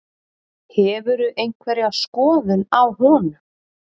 Hefurðu einhverja skoðun á honum?